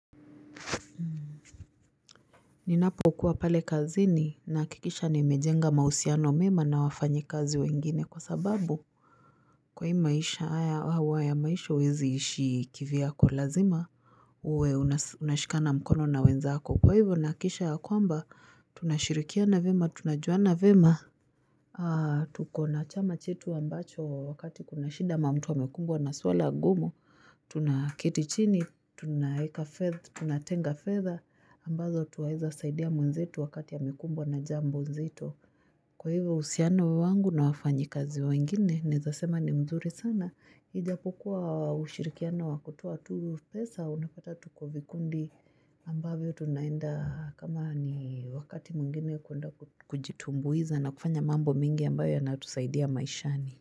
Ninapokuwa pale kazini nahakikisha nimejenga mausiano mema na wafanyikazi wengine kwa sababu kwa hii maisha hawa ya maisha wezi ishi kiviyako lazima uwe unashikana mkono na wenzako kwa hivyo nakisha ya kwamba tunashirikia na vema tunajua na vema Tuna tukona chama chetu ambacho wakati kuna shida ama mutu amekumbwa na swala gumu Tunaketi chini, tunatenga fedha ambazo twaeza saidia mwenzetu wakati ya amekumbwa na jambo nzito Kwa hivyo usiano wangu na wafanyikazi wengine Naezasema ni mzuri sana Ijapokuwa ushirikiano wa kutoa tu pesa unapata tuko vikundi ambavyo tunaenda kama ni wakati mwingine kwenda kujitumbuiza na kufanya mambo mingi ambayo yanatusaidia maishani.